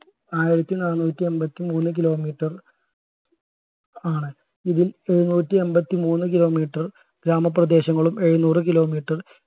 ആയിരത്തി നാന്നൂറ്റി എമ്പതിമൂന്ന്കി kilometer ആണ് ഇതിൽ എഴുനൂറ്റി എമ്പതിമൂന്ന് kilometer ഗ്രാമപ്രദേശങ്ങളും എഴുനൂറ് kilometer